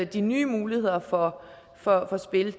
de nye muligheder for for spil